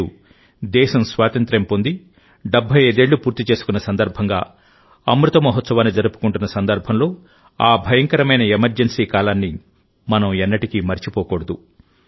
నేడుదేశం స్వాతంత్ర్యం పొంది 75 ఏళ్లు పూర్తి చేసుకున్న సందర్భంగాఅమృత మహోత్సవాన్ని జరుపుకుంటున్న సందర్భంలో ఆ భయంకరమైన ఎమర్జెన్సీ కాలాన్ని మనం ఎన్నటికీ మరచిపోకూడదు